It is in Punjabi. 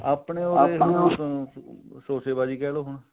ਆਪਣੇ ਤਾਂ ਸੋਸ਼ੇਬਾਜੀ ਕਿਹਲੋ ਹੁਣ